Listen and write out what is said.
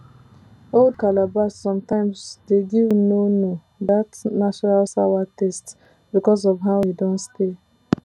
old calabash sometimes de give nono that natural sawa taste because of how e don stay